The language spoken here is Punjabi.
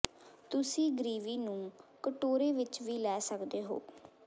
ਤੁਸੀਂ ਗ੍ਰੀਵੀ ਨੂੰ ਕਟੋਰੇ ਵਿਚ ਵੀ ਲੈ ਸਕਦੇ ਹੋ